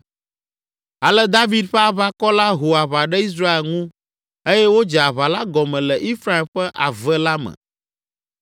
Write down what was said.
Ale David ƒe aʋakɔ la ho aʋa ɖe Israel ŋu eye wodze aʋa la gɔme le Efraim ƒe ave la me.